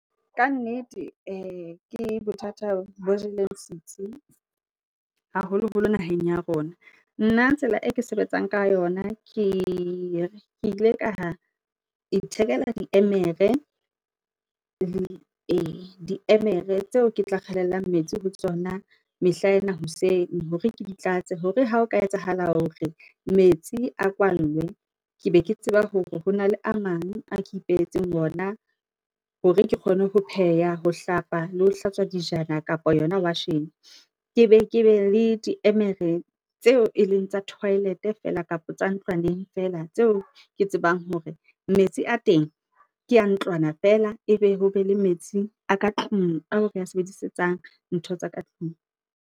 Ka nnete ke bothata bo jeleng setsi haholoholo naheng ya rona. Nna tsela e ke sebetsang ka yona, ke ile ka ithekela di emere tseo ke tla kgelellang metsi ho tsona mehlaena hoseng hore ke di tlatse. Hore ha o ka etsahala hore metsi a kwallwe, ke be ke tseba hore hona le a mang a ke ipehetseng ona hore ke kgone ho pheha, ho hlapa le ho hlatswa dijana kapa yona washini. Ke be le di emere tseo e leng tsa toilet feela, kapa tsa ntlwaneng feela tseo ke tsebang hore metsi a teng ke a ntlwana feela.E be ho be le metsi a ka tlung a re a sebedisetsang ntho tsa ka tlung.